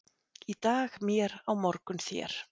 Í dag mér, á morgun þér.